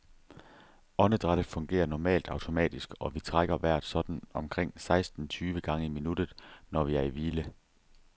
Åndedrættet fungerer normalt automatisk, og vi trækker vejret sådan omkring seksten tyve gange i minuttet, når vi er i hvile.